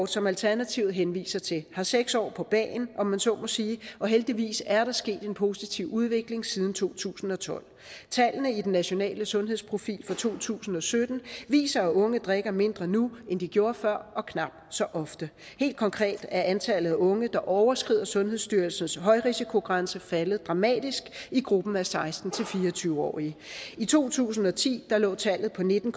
som alternativet henviser til har seks år på bagen om man så må sige og heldigvis er der sket en positiv udvikling siden to tusind og tolv tallene i den nationale sundhedsprofil fra to tusind og sytten viser at unge drikker mindre nu end de gjorde før og knap så ofte helt konkret er antallet af unge der overskrider sundhedsstyrelsens højrisikogrænse faldet dramatisk i gruppen af seksten til fire og tyve årige i to tusind og ti lå tallet på nitten